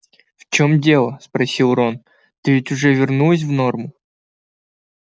в чем дело спросил рон ты ведь уже вернулась в норму